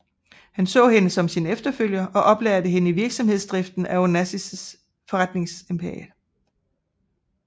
Han så hende som sin efterfølger og oplærte hende i virksomhedsdriften af Onassis forretningsimperiet